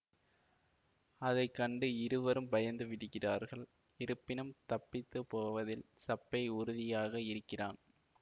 அதை கண்டு இருவரும் பயந்து விடுகிறார்கள் இருப்பினும் தப்பித்து போவதில் சப்பை உறுதியாக இருக்கிறான்